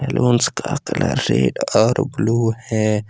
का colour red और blue है।